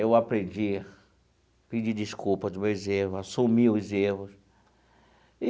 Eu aprendi pedir desculpas dos meus erros, assumir os erros e